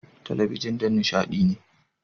Talabijin don nishaɗi ne.